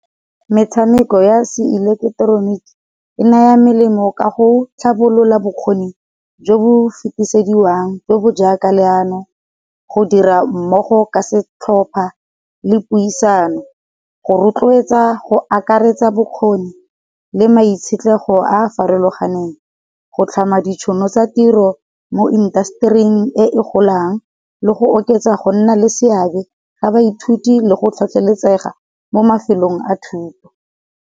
Metshameko ya se ileketeroniki e naya melemo ka go tlhabolola bokgoni, jo bo fetisediwang, jo bo jaaka leano, go dira mmogo ka setlhopa, le puisano, go rotloetsa, go akaretsa bokgoni, le maitshetlego a farologaneng, go tlhama di tšhono tsa tiro mo industry-ing e e golang, le go oketsa go nna le seabe sa ba ithuti, le go tlhotlheletsega mo mafelong a thuto.